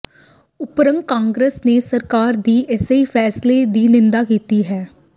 ਉਧਰ ਕਾਂਗਰਸ ਨੇ ਸਰਕਾਰ ਦੇ ਇਸ ਫ਼ੈਸਲੇ ਦੀ ਨਿੰਦਾ ਕੀਤੀ ਹੈ